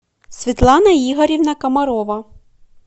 светлана игоревна комарова